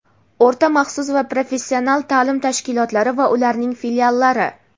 o‘rta maxsus va professional ta’lim tashkilotlari va ularning filiallari).